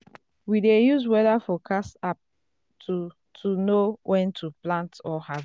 we dey use weather forecast app to to know when to plant or harvest.